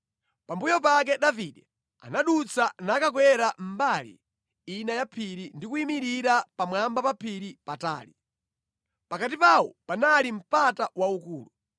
Pambuyo pake Davide anadutsa nakakwerera mbali ina ya phiri, ndi kuyimirira pamwamba pa phiri patali. Pakati pawo panali mpata waukulu.